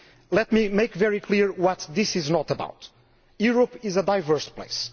Let me make very clear what this is not about. Europe is a diverse place.